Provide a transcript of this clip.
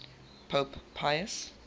pope pius